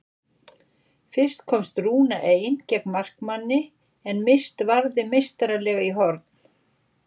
Fyrst komst Rúna ein gegn markmanni en Mist varði meistaralega í horn.